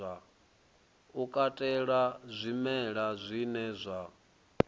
u katela zwimela zwine zwa